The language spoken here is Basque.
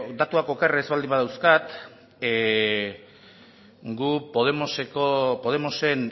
datuak oker ez baldin badauzkat guk podemosen